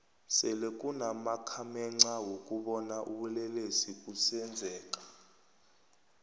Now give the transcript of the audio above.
sele kunama khamexa wokubona ubulelesi busenzeka